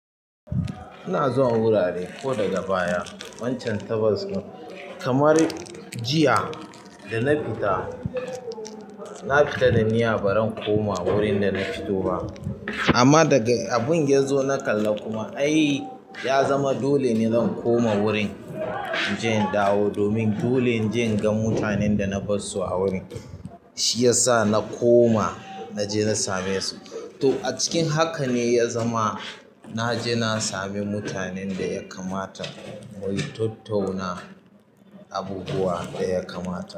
Ina zuwa wurare ko daga baya wancan tabas, kamar jiya da na fita, na fita da niyyar baran koma wurin da na fito ba. Amma daga abin yazo na kalla kuma ai ya zama dole ne zan koma wurin in je in dawo domin dole inje in ga mutanen da na bar su a wurin. Shiyasa na koma na je na same su to a cikin haka ne ya zama na je na sami mutanen da ya kamata, mu yi tattauna abubuwa da ya kamata.